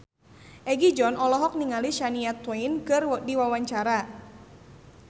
Egi John olohok ningali Shania Twain keur diwawancara